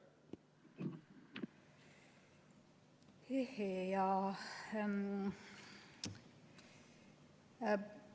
Jaa.